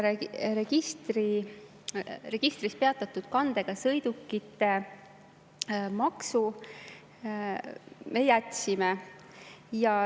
Peatatud registrikandega sõidukite maksu me jätsime.